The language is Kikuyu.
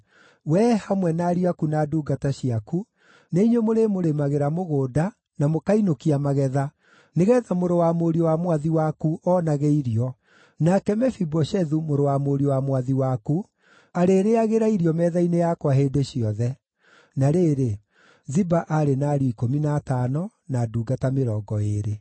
Wee, hamwe na ariũ aku na ndungata ciaku, nĩ inyuĩ mũrĩmũrĩmagĩra mũgũnda, na mũkainũkia magetha, nĩgeetha mũrũ wa mũriũ wa mwathi waku oonage irio. Nake Mefiboshethu, mũrũ wa mũriũ wa mwathi waku, arĩrĩĩagĩra irio metha-inĩ yakwa hĩndĩ ciothe.” (Na rĩrĩ, Ziba aarĩ na ariũ ikũmi na atano, na ndungata mĩrongo ĩĩrĩ.)